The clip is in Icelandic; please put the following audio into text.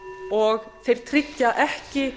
og þeir tryggja ekki